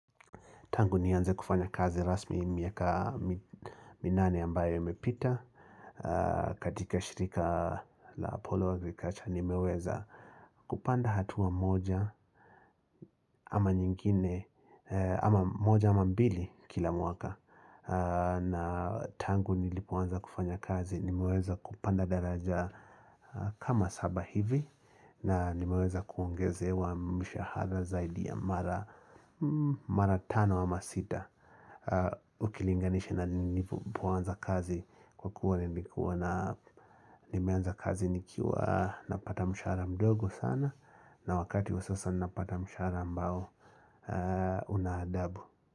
Tangu nianze kufanya kazi rasmi miaka minane ambayo imepita. Katika shirika la Apollo nikaacha nimeweza kupanda hatua moja ama nyingine. Ama moja ama mbili kila mwaka. Na tangu nilipoanza kufanya kazi nimeweza kupanda daraja kama saba hivi. Na nimeweza kuongezewa mshahara zaidi ya mara tano ama sita. Ukilinganisha na nilipoanza kazi Kwa kuwa nilikuwa na nimeanza kazi nikiwa napata mshahara mdogo sana na wakati wa sasa napata mshahara ambao una adabu.